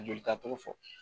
Jolita togo fɔ